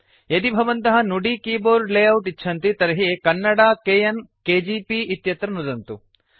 यदि भवन्तः Nudi keyboard layout इच्छन्ति तर्हि कन्नडा - केएन केजीपी इत्यत्र नुदन्तु